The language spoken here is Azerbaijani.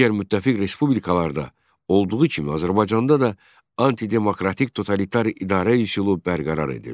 Digər müttəfiq respublikalarda olduğu kimi Azərbaycanda da antidemokratik totalitar idarə üsulu bərqərar edildi.